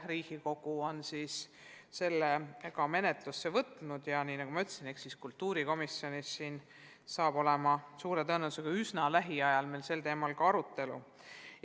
Riigikogu on selle menetlusse võtnud ja nagu ma ütlesin, saab suure tõenäosusega lähiajal kultuurikomisjonis sel teemal arutleda.